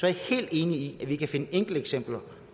jeg helt enig i at vi kan finde enkelteksempler